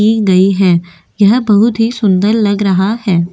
की गई है यह बहुत ही सुंदर लग रहा है।